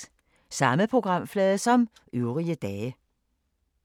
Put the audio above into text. Samme programflade som øvrige dage